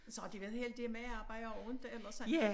Så har de været heldige med at arbejde ikke eller sådan